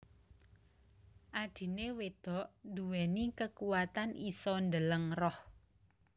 Adhine wedok nduweni kekuwatan isa ndeleng roh